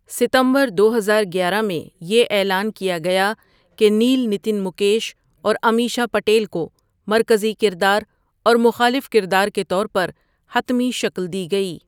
ستمبر دوہزار گیارہ میں یہ اعلان کیا گیا کہ نیل نتن مکیش اور امیشا پٹیل کو مرکزی کردار اور مخالف کردار کے طور پر حتمی شکل دی گئی.